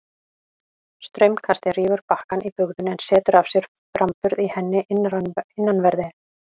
Straumkastið rýfur bakkann í bugðunni en setur af sér framburð í henni innanverðri.